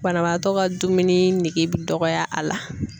Banabaatɔ ka dumuni nege bɛ dɔgɔya a la.